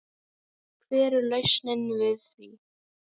Hver er lausnin við því?